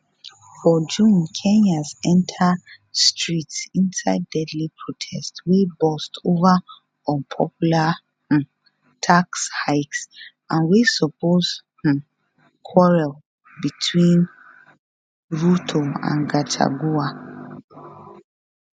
for june kenyans enter streets inside deadly protests wey burst over unpopular um tax hikes and wey expose um quarrel between ruto and gachagua